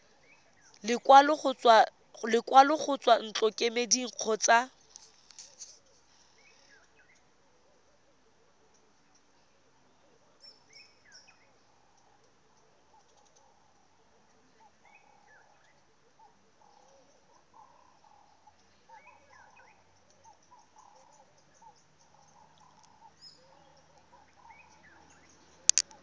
lekwalo go tswa ntlokemeding kgotsa